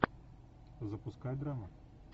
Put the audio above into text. запускай драму